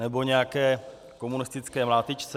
Nebo nějaké komunistické mlátičce?